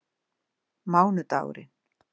mánudagurinn